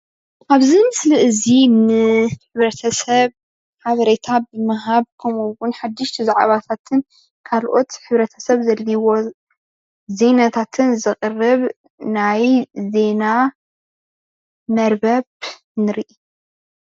ኣብዚ ምስሊ እዚ ንሕብረተሰብ ሓበሬታ ብምሃብ ከምኡ እዉን ሓደሽቲ ዛዕባታትን ካልኦት ሕብረታሰብ ዘድልይዎ ዜናታትን ዘቅርብ ናይ ዜና መርበብ ንርኢ፡፡